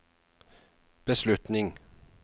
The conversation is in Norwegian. beslutning